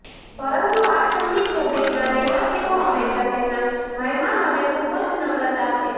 પરંતુ આ ઠંડી જમીનના રહેવાસીઓ હંમેશા તેમના મહેમાનોને ખુબ જ નમ્રતા આપે છે